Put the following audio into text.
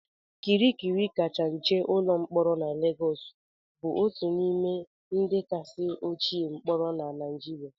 Kirikiri kacha nche ụlọ mkpọrọ na Lagos bụ otu n'ime ndị kasị ochie mkpọrọ na Nigeria